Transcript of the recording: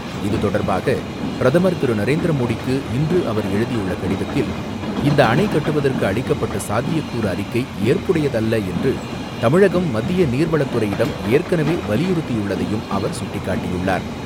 இதுதொடர்பாக, பிரதமர் திரு நரேந்திர மோடிக்கு இன்று அவர் எழுதியுள்ள கடிதத்தில், இந்த அணை கட்டுவதற்கு அளிக்கப்பட்ட சாத்தியக்கூறு அறிக்கை ஏற்புடையது அல்ல என்று தமிழகம் மத்திய நீர்வளத்துறையிடம் ஏற்கனவே வலியுறுத்தியுள்ளதையும் அவர் சுட்டிக்காட்டியுள்ளார்.